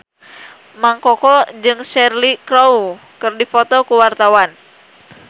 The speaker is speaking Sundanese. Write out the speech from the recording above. Mang Koko jeung Cheryl Crow keur dipoto ku wartawan